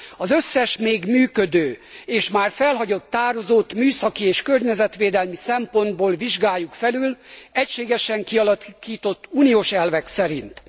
Az összes, még működő és már felhagyott tározót műszaki és környezetvédelmi szempontból vizsgáljuk felül, egységes kialakított uniós elvek szerint.